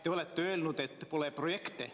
Te olete öelnud, et pole projekte.